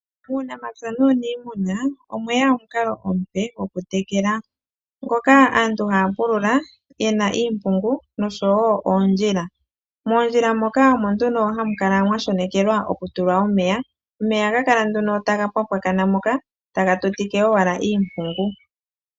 Muunamapya nuuniimuna omweya omukalo omupe goku tekela, ngoka aantu haya pulula yena iimpungu noshowo oondjila. Moondjila moka omo nduno hamu kala mwa shonekelwa oku tulwa omeya, omeya ohaga kala nduno taga pwapwakana moka taga tutike owala iimpungu.